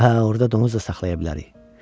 Hə, orada donuz da saxlaya bilərik.